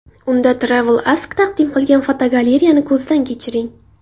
Unda TravelAsk taqdim qilgan fotogalereyani ko‘zdan kechiring.